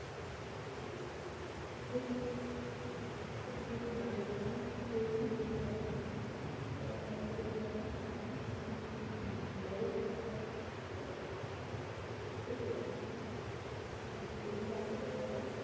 সব থেকে ভালো বন্ধুত্ব হয়েছিলো যে বান্ধবীর এবং মহাবিদ্যালয়ের সামনে একটি বড় খেলার মাঠ ছিলো সেখানে বন্ধু-বান্ধবরা মিলে